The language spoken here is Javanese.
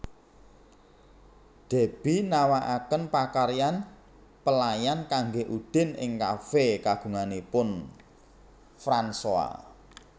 Deby nawakaken pakaryan pelayan kanggé Udin ing kafé kagunganipun Fransoa